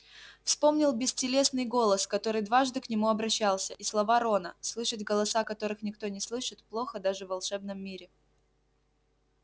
вспомнил бестелесный голос который дважды к нему обращался и слова рона слышать голоса которых никто не слышит плохо даже в волшебном мире